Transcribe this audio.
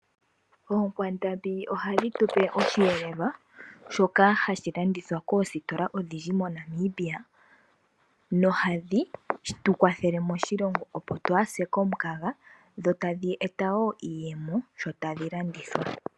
Oonkwandambi ohadhi tu pe osheelelwa shoka hashi landithwa koositola odhindji moNamibia nohadhi tu kwathele moshilongo, opo twaa se komukaga dho tadhi eta wo iiyemo sho tadhi landithwa po.